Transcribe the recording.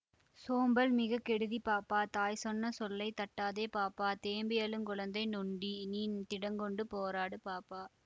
சோம்பல் மிகக்கெடுதி பாப்பா தாய் சொன்ன சொல்லைத் தட்டாதே பாப்பா தேம்பி யழுங்குழந்தை நொண்டி நீ திடங்கொண்டு போராடு பாப்பா